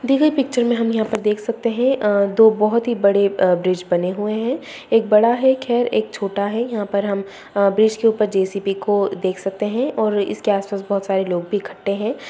दी गई पिक्चर में हम यहाँ पर देख सकते हैं अ दो बहोत ही बड़े अ ब्रिज बने हुए हैं एक बड़ा है खैर एक छोटा है यहाँ पर हम अ ब्रिज के ऊपर जे.सी.बी. को देख सकते है और इसके आस-पास बहोत सारे लोग भी इकट्ठे हैं।